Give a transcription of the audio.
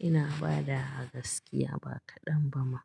Ina bada wa gaskiya ba kaɗan ba ma.